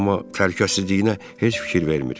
amma təhlükəsizliyinə heç fikir vermir.